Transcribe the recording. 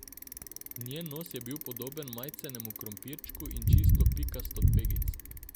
Njen nos je bil podoben majcenemu krompirčku in čisto pikast od pegic.